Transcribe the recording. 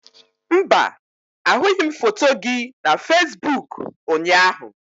Mba, ahụghị m foto gị na Fesiboku ụnyaahụ.